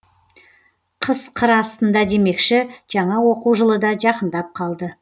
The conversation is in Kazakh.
қыс қыр астында демекші жаңа оқу жылы да жақындап қалды